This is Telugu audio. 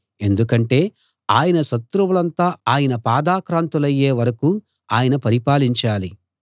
ఎందుకంటే ఆయన శత్రువులంతా ఆయన పాదాక్రాంతులయ్యే వరకూ ఆయన పరిపాలించాలి